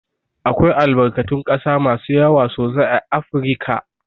Akwai albarkatun ƙasa masu yawa sosai a Afirika.